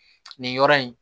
Nin yɔrɔ in